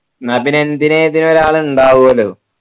ന്നാപ്പിന്നെ എന്തിനും ഏതിനും ഒരാളുണ്ടാവുമല്ലോ